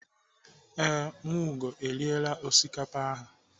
Ee, Nwaugo eriela osikapa ahụ.